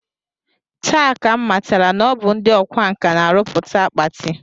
Taa ka m matara na ọ bụ ndị ọkwa nkà na-arụpụta akpati